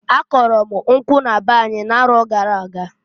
A kụlụ m nkwụ na be anyị na-arọ gara aga.